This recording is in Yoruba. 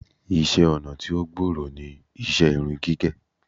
Iṣẹ́-ọnà tí ó gbòòrò ní iṣẹ́ irun gígẹ̀.